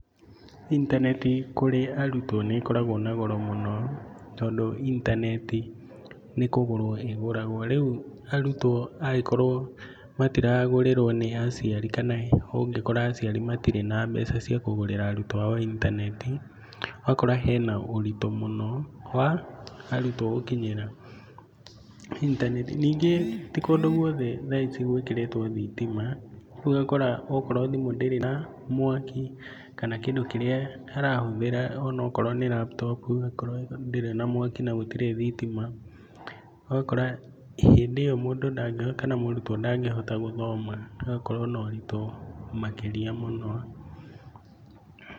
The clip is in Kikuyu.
Intaneti kũrĩ arutwo nĩ ĩkoragwo na goro mũno tondũ intaneti nĩ kũgũrwo ĩgũragwo rĩu arutwo mangĩkorwo matiragũrĩrwo nĩ aciari kana ũngkora aciari matirĩ na mbeca cia kũgũrĩra arutwo ao itananeti. Ũgakora hena ũritũ mũno wa arutwo gũkinyĩra intaneti. Nĩngĩ ti kũndũ gwothe thaa ici gwĩkĩritwo thitima rĩu ũgakora okorwo timũ ndĩrĩ na mwaki kana kĩndũ kĩrĩa arahũthĩra onakorwo nĩ laptop akorwo ndĩrĩ na mwaki na gũtirĩ thitima. Ũgakora hĩndĩ ĩyo mũndũ kana mũrutwo ndangĩhota gũthoma agakorwo na ũritũ makĩria mũno.